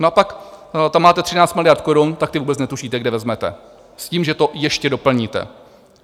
No a pak tam máte 13 miliard korun, tak ty vůbec netušíte, kde vezmete, s tím, že to ještě doplníte.